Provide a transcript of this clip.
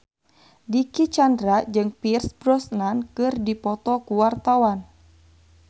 Dicky Chandra jeung Pierce Brosnan keur dipoto ku wartawan